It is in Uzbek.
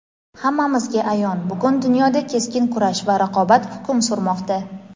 Hammamizga ayon bugun dunyoda keskin kurash va raqobat hukm surmoqda.